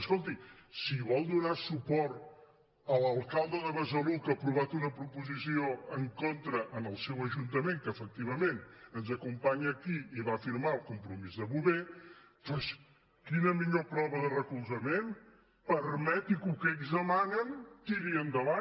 escolti si vol donar suport a l’alcalde de besalú que ha aprovat una proposició en contra en el seu ajuntament que efectivament ens acompanya aquí i va firmar el compromís de bover doncs quina millor prova de recolzament permeti que el que ells demanen tiri endavant